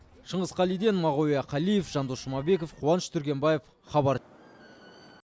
шыңғыс қалиден мағауия қалиев жандос жұмабеков қуаныш түргенбаев хабар